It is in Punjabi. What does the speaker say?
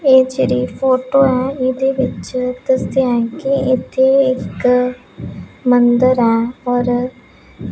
ਇਹ ਜਿਹੜੀ ਫੋਟੋ ਹੈ ਇਹਦੇ ਵਿੱਚ ਦੱਸਿਆ ਹੈ ਕਿ ਇੱਥੇ ਇੱਕ ਮੰਦਰ ਹੈ ਔਰ --